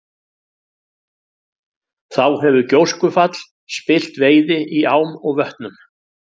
Þá hefur gjóskufall spillt veiði í ám og vötnum.